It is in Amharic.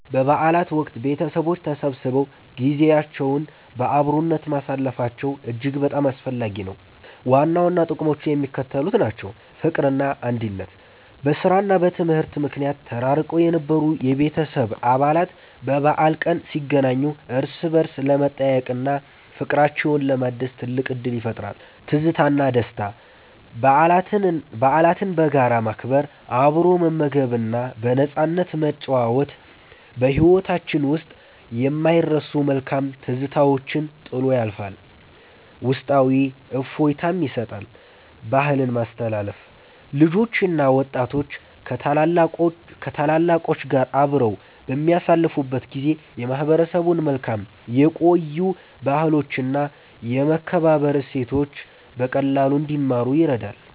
በበዓላት ወቅት ቤተሰቦች ተሰብስበው ጊዜያቸውን በአብሮነት ማሳለፋቸው እጅግ በጣም አስፈላጊ ነው። ዋና ዋና ጥቅሞቹ የሚከተሉት ናቸው፦ ፍቅርና አንድነት፦ በሥራና በትምህርት ምክንያት ተራርቀው የነበሩ የቤተሰብ አባላት በበዓል ቀን ሲገናኙ እርስ በርስ ለመጠያየቅና ፍቅራቸውን ለማደስ ትልቅ ዕድል ይፈጥራል። ትዝታና ደስታ፦ በዓላትን በጋራ ማክበር፣ አብሮ መመገብና በነፃነት መጨዋወት በሕይወታችን ውስጥ የማይረሱ መልካም ትዝታዎችን ጥሎ ያልፋል፤ ውስጣዊ እፎይታም ይሰጣል። ባህልን ማስተላለፍ፦ ልጆችና ወጣቶች ከታላላቆች ጋር አብረው በሚያሳልፉበት ጊዜ የማህበረሰቡን መልካም የቆዩ ባህሎችና የመከባበር እሴቶች በቀላሉ እንዲማሩ ይረዳል።